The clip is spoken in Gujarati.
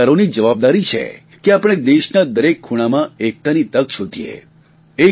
તમામ સરકારોની જવાબદારી છે કે આપણે દેશના દરેક ખૂણામાં એકતાની તક શોધીએ